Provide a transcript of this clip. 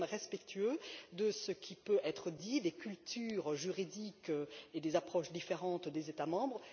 Mais nous sommes respectueux de ce qui peut être dit, des cultures juridiques et des approches différentes des États membres.